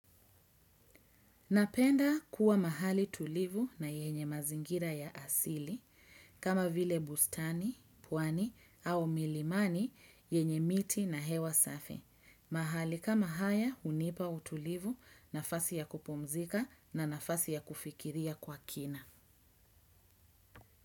Napenda kuwa mahali tulivu na yenye mazingira ya asili kama vile bustani, pwani au milimani yenye miti na hewa safi. Mahali kama haya hunipa utulivu nafasi ya kupumzika na nafasi ya kufikiria kwa kina.